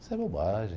Isso é bobagem.